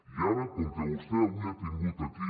i ara com que vostè avui ha tingut aquí